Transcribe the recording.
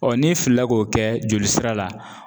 n'i filila k'o kɛ jolisira la.